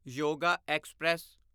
yoga express